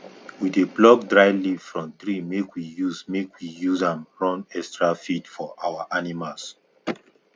we dey pluck dry leaf from tree make we use make we use am run extra feed for our animals